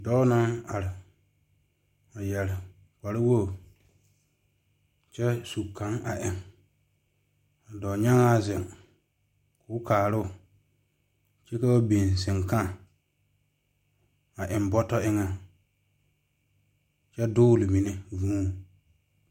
Dɔɔ naŋ are a yeere kpare wogi kyɛ su kaŋ a eŋ ka dɔɔnyaŋa zeŋ koo kaaro kyɛ ka ba biŋ sankãã a eŋ bɔtɔ eŋe kyɛ dɔgle mine vūū.